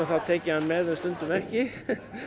tek ég hann með og stundum ekki